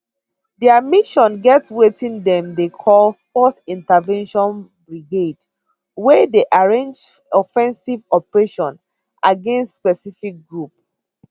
dia mission get wetin dem dey call force intervention brigade wey dey arrange offensive operations against specific groups